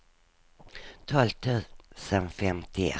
tolv tusen femtioett